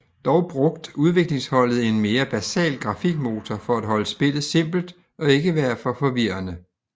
Dog brugt udviklingsholdet en mere basal grafikmotor for at holde spillet simpelt og ikke være for forvirrende